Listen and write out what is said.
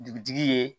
Dugutigi ye